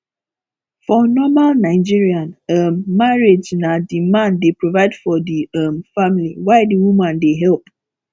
for normal nigerian um marriage na di man dey provide for di um family while di woman dey help